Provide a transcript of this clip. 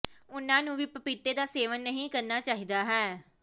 ਉਨ੍ਹਾਂ ਨੂੰ ਵੀ ਪਪੀਤੇ ਦਾ ਸੇਵਨ ਨਹੀਂ ਕਰਨਾ ਚਾਹੀਦਾ ਹੈ